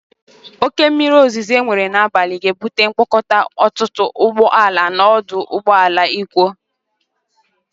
Oke mmiri ozuzu enwere n'abalị ga-ebute mkpakọta ọtụtụ ụgbó ala n'ọdụ ụgbọ ala Ikwo.